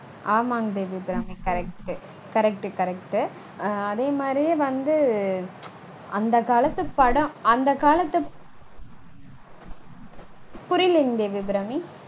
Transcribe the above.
ஆமாங் Devi Abirami. correct. correct correct அதே மாதிரியே வந்து அந்த காலத்து படம் அந்த காலத்து படம், புரியலைங் தேவி அபிராமி